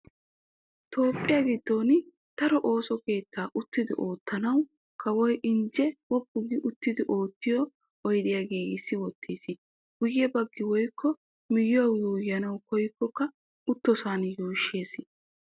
Toophphiya giddon daro ooso keettaa uttidi ottanawu kawoy injjenne woppu gi uttidi oottiyo oydiya giigissi wottis. Guye bagga woykko miyiyawu yuuyyanawu kooyikko uttoosona yuushshees.